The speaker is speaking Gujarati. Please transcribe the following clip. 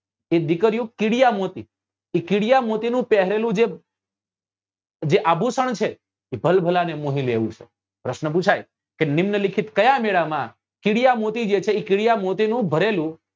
એ દીકરીઓ કીડિયા મોતી એ કીડિયા મોતી નું પહેરેલું જ જે આભુષણ છે એ ભલભલા ને મોહી લે એવું છે પ્રશ્ન પુછાય કે નિમ્ન લિખિત કયા મેળા માં કીડિયા મોતી જે છે એ કીડિયા મોતી નું ભરેલું